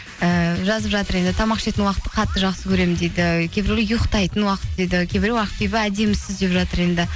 ііі жазып жатыр енді тамақ ішетін уақытты қатты жақсы көремін дейді кейбіреулер ұйықтайтын уақыт дейді кейбіреуі ақбибі әдемісіз деп жатыр енді